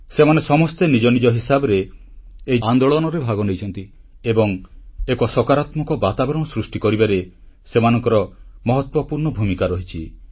ସେମାନେ ସମସ୍ତେ ନିଜ ନିଜ ହିସାବରେ ଏହି ଆନ୍ଦୋଳନରେ ଭାଗନେଇଛନ୍ତି ଏବଂ ଏକ ସକାରାତ୍ମକ ବାତାବରଣ ସୃଷ୍ଟି କରିବାରେ ସେମାନଙ୍କର ମହତ୍ୱପୂର୍ଣ୍ଣ ଭୂମିକା ରହିଛି